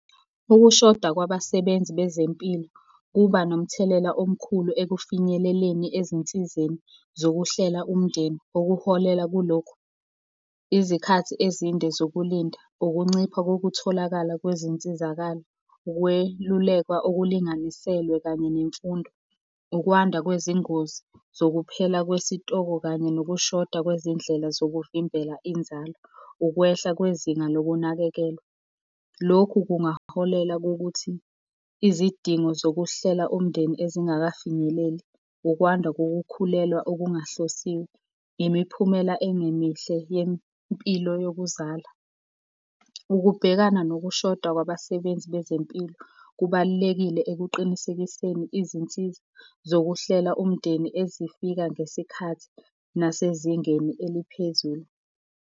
Ukushoda kwabasebenzi bezempilo kuba nomthelela omkhulu ekufinyeleleni ezinsizeni zokuhlela umndeni, okuholela kulokhu. Izikhathi ezinde zokulinda, ukuncipha kokutholakala kwezinsizakalo, ukwelulekwa okulinganiselwe kanye nemfundo, ukwanda kwezingozi zokuphela kwesitoko kanye nokushoda kwezindlela zokuvimbela inzalo, ukwehla kwezinga lokunakekelwa. Lokhu kungaholela kokuthi izidingo zokuhlela umndeni ezingakafinyeleli, ukwanda kokukhulelwa okungahlosiwe, imiphumela engemihle yempilo yokuzala. Ukubhekana nokushoda kwabasebenzi bezempilo, kubalulekile ekuqinisekiseni izinsiza zokuhlela umndeni ezifika ngesikhathi nasezingeni eliphezulu.